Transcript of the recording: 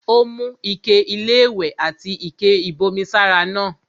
Ó mú ike-iléwẹ̀ àti ike-ìbomi sára náà.